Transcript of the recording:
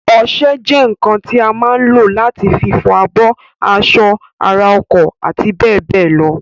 Ọsẹ jẹ́ ǹǹkan tí a má ǹ lò láti fi fọ abọ́, aṣọ, ara, ọkọ̀ àti bẹ́ẹ̀bẹ́ẹ̀ lọ